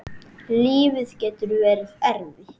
Lífið getur verið erfitt.